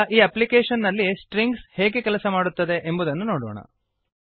ಈಗ ಈ ಅಪ್ಲಿಕೇಶನ್ ನಲ್ಲಿ ಸ್ಟ್ರಿಂಗ್ಸ್ ಹೇಗೆ ಕೆಲಸ ಮಾಡುತ್ತದೆ ಎಂಬುದನ್ನು ನೋಡೋಣ